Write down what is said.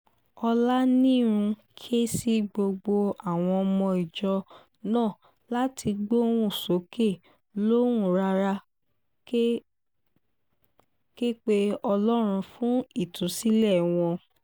ọ̀lanihun ké sí gbogbo àwọn ọmọ ìjọ náà láti gbóhùn sókè lóhùn rárá kẹ̀ pé ọlọ́run fún ìtúsílẹ̀ wọn